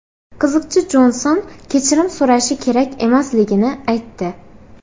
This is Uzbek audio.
Qiziqchi Jonson kechirim so‘rashi kerak emasligini aytdi.